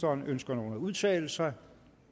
ønsker nogen at udtale sig